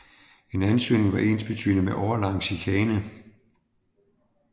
En ansøgning var ensbetydende med årelang chikane